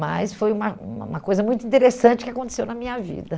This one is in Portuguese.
Mas foi uma uma uma coisa muito interessante que aconteceu na minha vida.